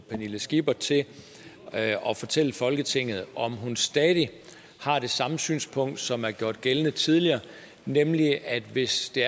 pernille skipper til at fortælle folketinget om hun stadig har det samme synspunkt som er gjort gældende tidligere nemlig at det hvis det